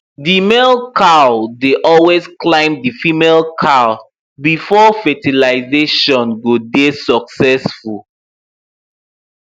the male cow dey always climb the female cow before fertilazation go dey succesful